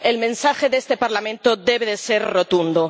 El mensaje de este Parlamento debe ser rotundo.